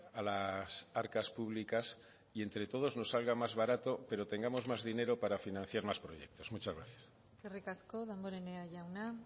a las arcas públicas y entre todos nos salga más barato pero tengamos más dinero para financiar más proyectos muchas gracias eskerrik asko damborenea jauna